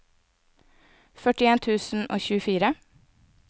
førtien tusen og tjuefire